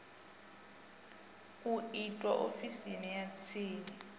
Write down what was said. u itwa ofisini ya tsini